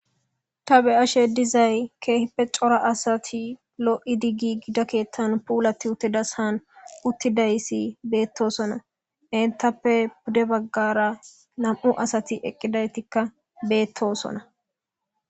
ta be'ashe dizay keehippe cora asati lo'idi ggigida keettan puulati uttidashaan uttidaysi beettosona entappe pude baggara nam'u asati eqqidaytikka beettosona